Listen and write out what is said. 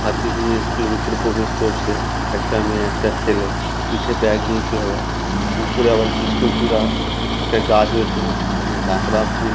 হাতি নিয়ে স্কুল - এর ভেতরে প্রবেশ করছে। একটা মেয়ে একটা ছেলে। পিঠে ব্যাগ নিয়ে চলা উপরে আবার কৃষ্ণচূড়া একটা গাছ রয়েছে। একদম ঝাঁকড়া ফুল।